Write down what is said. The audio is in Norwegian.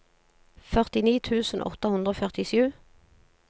førtini tusen åtte hundre og førtisju